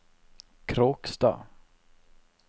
Kråkstad